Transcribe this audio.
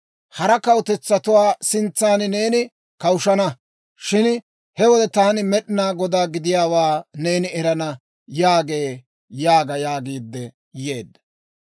Hara kawutetsatuwaa sintsan neeni kawushshana; shin he wode taani Med'inaa Godaa gidiyaawaa neeni erana» yaagee› yaaga» yaagiidde yeedda.